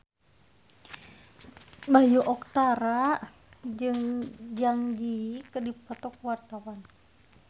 Bayu Octara jeung Zang Zi Yi keur dipoto ku wartawan